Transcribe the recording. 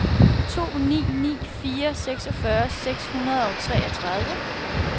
to ni ni fire seksogfyrre seks hundrede og treogtredive